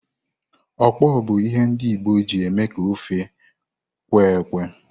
Okpor bụ ihe ndi Igbo na eji eme ka ofe kwe-ekwe.